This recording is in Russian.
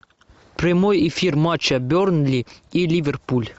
прямой эфир матча бернли и ливерпуль